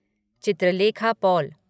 Chitralekha Paul